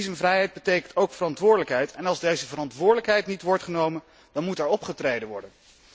Visumvrijheid betekent ook verantwoordelijkheid en als deze verantwoordelijkheid niet wordt genomen, dan moet er opgetreden worden.